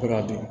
Fo ka dun